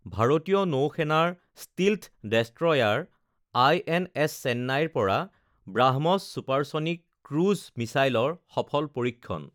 ভাৰতীয় নৌ সেনাৰ ষ্টীলথ ডেষ্ট্ৰয়াৰ আইএনএছ চেন্নাইৰ পৰা ব্ৰাহ্মছ ছুপাৰছনিক ক্ৰুইজ মিছাইলৰ সফল পৰীক্ষণ